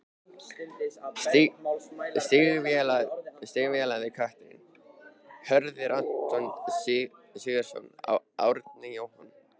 Stígvélaði kötturinn: Hörður, Anton Sigurðsson, Árni, Jóhann